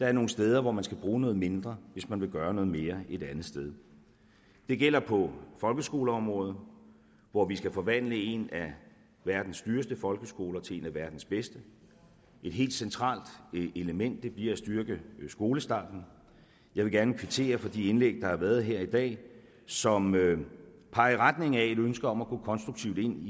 er nogle steder hvor man skal bruge noget mindre hvis man vil gøre noget mere et andet sted det gælder på folkeskoleområdet hvor vi skal forvandle en af verdens dyreste folkeskoler til en af verdens bedste et helt centralt element bliver at styrke skolestarten og jeg vil gerne kvittere for de indlæg der har været her i dag som peger i retning af et ønske om at gå konstruktivt ind